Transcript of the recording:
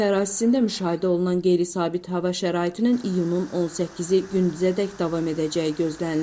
Ölkə ərazisində müşahidə olunan qeyri-sabit hava şəraitinin iyunun 18-i gündüzədək davam edəcəyi gözlənilir.